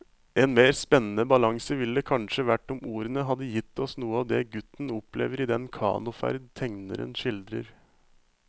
En mer spennende balanse ville det kanskje vært om ordene hadde gitt oss noe av det gutten opplever i den kanoferd tegneren skildrer.